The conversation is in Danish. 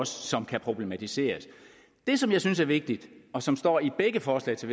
som kan problematiseres det som jeg synes er vigtigt og som står i begge forslag til